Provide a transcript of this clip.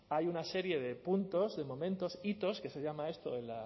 hay una serie de puntos de momentos hitos que se llama esto en